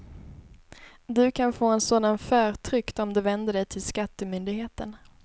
Du kan få en sådan förtryckt om du vänder dig till skattemyndigheten.